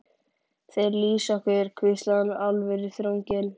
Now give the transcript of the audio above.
Þeir lýsa okkur hvíslaði hinn alvöruþrunginn.